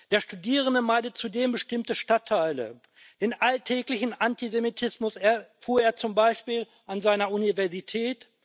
Der Studierende meidet zudem bestimmte Stadtteile. Den alltäglichen Antisemitismus erfuhr er zum Beispiel an seiner Universität.